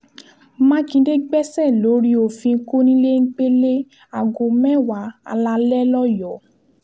mákindé gbẹ̀ṣẹ́ lórí òfin kọnilẹgbẹlẹ aago mẹ́wàá alalẹ́ lọ́yọ́ọ́